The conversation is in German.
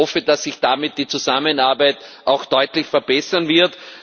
Ich hoffe, dass sich damit die Zusammenarbeit auch deutlich verbessern wird.